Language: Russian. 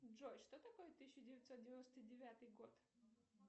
джой что такое тысяча девятьсот девяносто девятый год